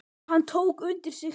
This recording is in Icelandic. Hann tók undir sig stökk.